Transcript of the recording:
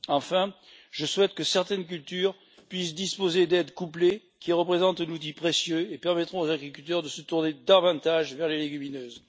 Enfin, je souhaite que certaines cultures puissent disposer d'aides couplées qui représentent un outil précieux et permettront aux agriculteurs de se tourner davantage vers les légumineuses.